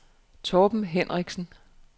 Torben Hendriksen